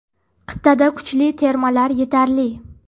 Qit’ada kuchli termalar yetarli.